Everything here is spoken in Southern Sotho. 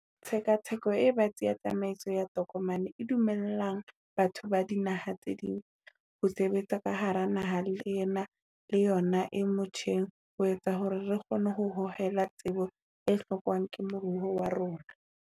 Tshekatsheko e batsi ya tsamaiso ya tokomane e dumellang batho ba dinaha tse ding ho sebetsa ka hara naha ena le yona e motjheng ho etsa hore re kgone ho hohela tsebo e hlokwang ke moruo wa rona.